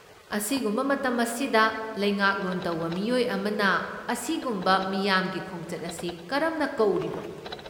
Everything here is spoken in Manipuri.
ꯑꯁꯤꯒꯨꯝꯕ ꯃꯇꯝ ꯑꯁꯤꯗ ꯂꯩꯉꯥꯛꯂꯣꯟ ꯇꯧꯕ ꯃꯤꯑꯣꯏ ꯑꯃꯅ ꯑꯁꯤꯒꯨꯝꯕ ꯃꯤꯌꯥꯝꯒꯤ ꯈꯣꯡꯆꯠ ꯑꯁꯤ ꯀꯔꯝꯅ ꯀꯧꯔꯤꯕꯅꯣ?